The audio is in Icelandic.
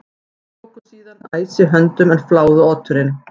Þeir tóku síðan æsi höndum en fláðu oturinn.